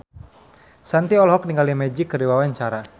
Shanti olohok ningali Magic keur diwawancara